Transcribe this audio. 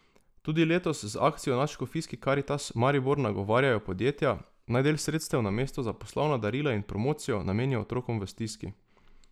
Tudi letos z akcijo v Nadškofijski karitas Maribor nagovarjajo podjetja, naj del sredstev namesto za poslovna darila in promocijo namenijo otrokom v stiski.